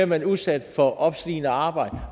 man udsat for opslidende arbejde